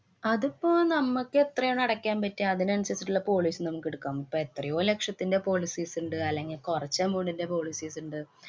അതിപ്പോ നമ്മക്ക് എത്രയാണോ അടയ്ക്കാന്‍ പറ്റുക അതിനനുസരിച്ചിട്ടുള്ള policy നമ്മക്കെടുക്കാന്‍ പറ്റും, എത്രയോ ലക്ഷത്തിന്‍റെ policies ഇണ്ട്? അല്ലെങ്കി കൊറച്ചു amount ന്‍റെ policies ഇണ്ട്?